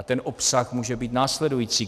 A ten obsah může být následující.